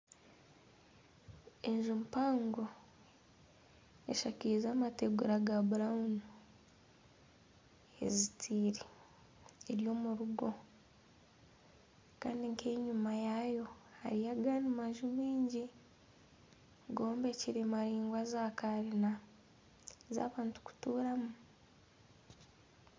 Enju mpango eshakize amateegura ga burawunu ezitaire, eri omu rugo kandi nk'enyuma yaayo hariyo agandi maju maingi gombekire maraingwa za kanyina z'abantu kutuuramu.